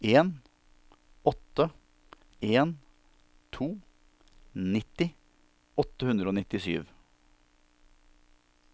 en åtte en to nitti åtte hundre og nittisju